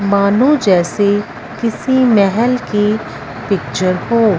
मानो जैसे किसी महल की पिक्चर हो।